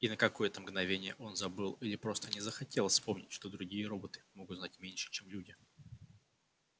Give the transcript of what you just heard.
и на какое то мгновение он забыл или просто не захотел вспомнить что другие роботы могут знать меньше чем люди